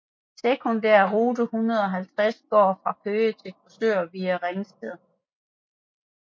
Sekundærrute 150 går fra Køge til Korsør via ringsted